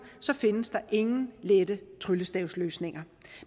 så findes der ingen lette tryllestavsløsninger